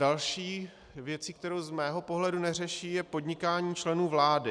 Další věcí, kterou z mého pohledu neřeší, je podnikání členů vlády.